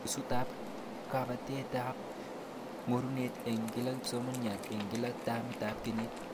Nusutab kabetetab ngorunet eng kila kisomaniat eng kila tamitab kenyit